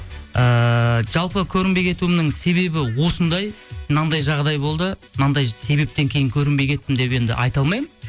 ыыы жалпы көрінбей кетуімнің себебі осындай мынандай жағдай болды мынандай себептен кейін көрінбей кеттім деп енді айта алмаймын